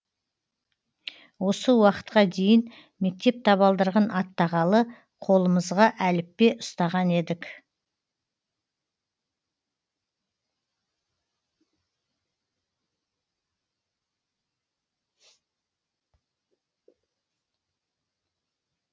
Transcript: осы уақытқа дейін мектеп табалдырығын аттағалы қолымызға әліппе ұстаған едік